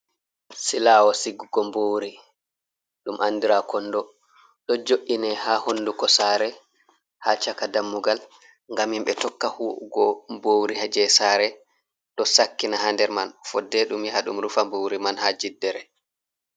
Silawo sigugo mbuuri, ɗum andira kondo. Ɗo jo’ine ha hunduko sare, ha caka dammugal ngam himɓe tokka hu’ugo mbuuri ha jei sare, ɗo sakkina ha nder man, fodde ɗum yaha ɗum rufa mbuuri man ha jiddere.